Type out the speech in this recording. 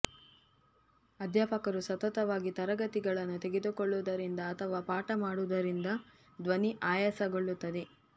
ಅಧ್ಯಾಪಕರು ಸತತವಾಗಿ ತರಗತಿಗಳನ್ನು ತೆಗೆದುಕೊಳ್ಳುವುದರಿಂದ ಅಥವಾ ಪಾಠ ಮಾಡುವುದರಿಂದ ಧ್ವನಿ ಆಯಾಸಗೊಳ್ಳುತ್ತದೆ